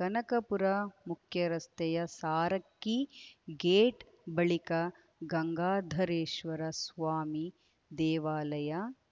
ಕನಕಪುರ ಮುಖ್ಯರಸ್ತೆಯ ಸಾರಕ್ಕಿ ಗೇಟ್ ಬಳಿಕ ಗಂಗಾಧರೇಶ್ವರ ಸ್ವಾಮಿ ದೇವಾಲಯ